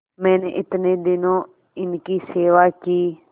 मैंने इतने दिनों इनकी सेवा की